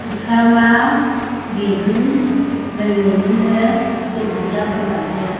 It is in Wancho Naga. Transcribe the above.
ekama bilun mai mai nu ley gate jing ley apat lak ley taiya.